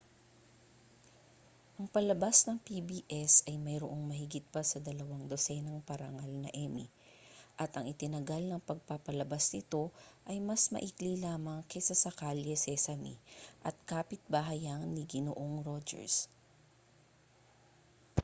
ang palabas ng pbs ay mayroong mahigit pa sa dalawang dosenang parangal na emmy at ang itinagal ng pagpapalabas nito ay mas maikli lamang kaysa sa kalye sesame at kapitbahayan ni ginoong rogers